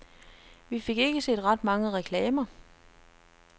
Vi fik ikke set ret mange reklamer.